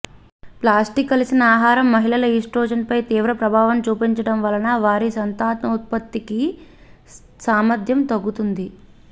plastic కలిసిన ఆహారం మహిళల ఈస్ట్రోజన్పై తీవ్ర ప్రభావం చూపుతుండడం వలన వారి సంతానోత్పత్తి సామర్ధ్యం తగ్గుతుంది